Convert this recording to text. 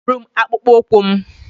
Yipụrụ m akpụkpọ ụkwụ m!